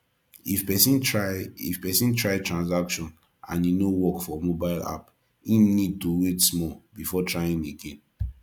if person try if person try transaction and e no work for mobile app im need to wait small before trying again